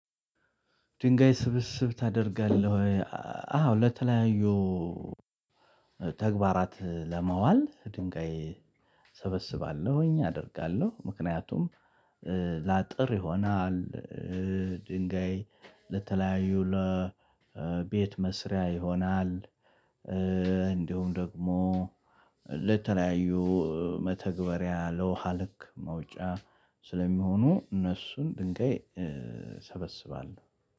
ድንጋይ ስብስብ ታደርጋለህ ወይ? አዎ ለተለያዩ ተግባራት ለማዋል ድንጋይ ሰበስባለሁኝ አደርጋለሁ። ምክንያቱም ለአጥር ይሆናል። ድንጋይ ለተለያዩ ለቤት መስሪያ ይሆናል። እንዲሁም ደግሞ ለተለያዩ መተግበሪያ ለውሃ ልክ መውጫ ስለሚሆኑ እነሱን ድንጋይ ሰበስባለሁ።